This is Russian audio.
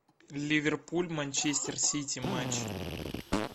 ливерпуль манчестер сити матч